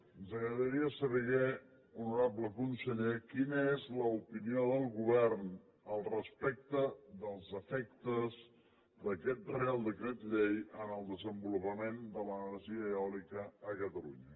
ens agradaria saber honorable conseller quina és l’opinió del govern respecte dels efectes d’aquest reial decret llei en el desenvolupament de l’energia eòlica a catalunya